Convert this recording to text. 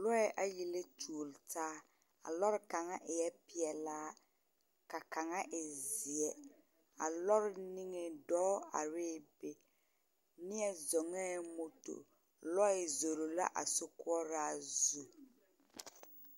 Lɔɛ ayi la tuori taa, a lɔre kaŋa eɛ peɛlaa, ka kaŋa e zeɛ. A lɔre niŋeŋ dɔɔ arɛɛ be neɛ zɔŋɛɛ moto, lɔɛ zoro la a sokoɔraa zu.